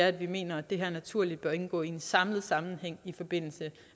at vi mener at det her naturligt bør indgå i en samlet sammenhæng i forbindelse